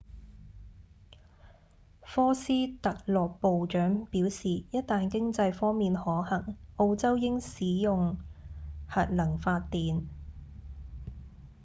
科斯特洛部長表示一旦經濟方面可行澳洲應使用核能發電